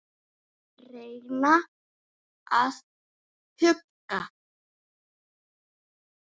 Reyna að hugga.